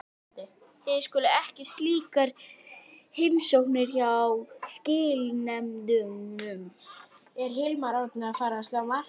Þið stundið ekki slíkar heimsóknir hjá skilanefndunum?